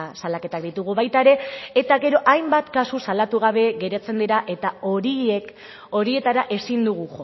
salaketak ditugu baita ere eta gero hainbat kasu salatu gabe geratzen dira eta horiek horietara ezin dugu